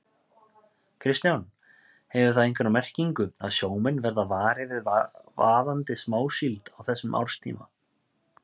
Kristján: Hefur það einhverja merkingu að sjómenn verða varir við vaðandi smásíld á þessum árstíma?